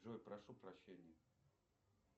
джой прошу прощения